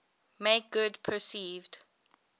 make good perceived